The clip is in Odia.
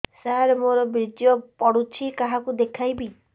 ସାର ମୋର ବୀର୍ଯ୍ୟ ପଢ଼ୁଛି କାହାକୁ ଦେଖେଇବି